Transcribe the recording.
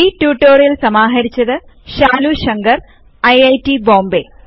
ഈ ട്യൂട്ടോറിയൽ സമാഹരിച്ചത് ശാലു ശങ്കർ ഐറ്റ് ബോംബേ